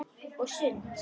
Og sund.